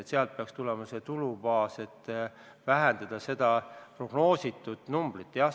Sealt peaks tulema tulubaas, et seda prognoositud numbrit vähendada.